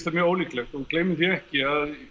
mjög ólíklegt og gleymum því ekki að